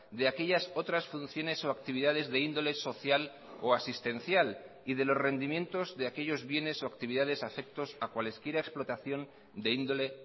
de aquellas otras funciones o actividades de índole social o asistencial y de los rendimientos de aquellos bienes o actividades afectos a cualesquiera explotación de índole